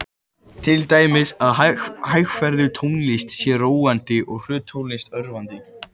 Til dæmis að hægferðug tónlist sé róandi og hröð tónlist örvandi.